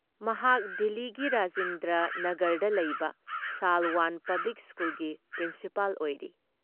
ꯃꯍꯥꯛ ꯗꯤꯜꯂꯤꯒꯤ ꯔꯥꯖꯤꯟꯗꯔ ꯅꯥꯒꯔꯗ ꯂꯩꯕ ꯁꯥꯜꯋꯥꯟ ꯄꯕ꯭ꯂꯤꯛ ꯁ꯭ꯀꯨꯜꯒꯤ ꯄ꯭ꯔꯤꯟꯁꯤꯄꯥꯜ ꯑꯣꯏꯔꯤ ꯫